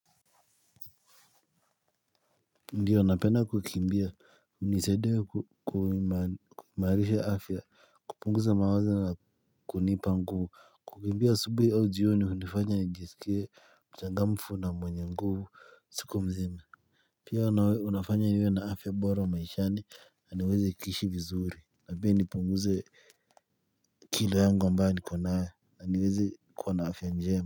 Ndiyo napenda kukimbia hunisaidia kuimarisha afya kupunguza mawaza na kunipa nguvu kukimbia asubuhi au jioni hunifanya nijiskie mchangamfu na mwenye nguvu siku mzima pia unawe unafanya niwe na afya bora maishani na niweze kuishi vizuri na pia nipunguze kilo yangu ambayo niko nayo na niweze kuwa na afya njema.